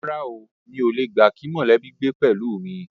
Rárá o, mi ò le gbà kí mọ̀lẹ́bí gbé pẹ̀lú mi